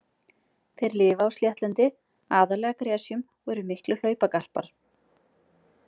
Þeir lifa á sléttlendi, aðallega gresjum og eru miklir hlaupagarpar.